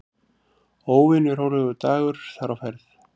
Óvenju rólegur dagur þar á ferð.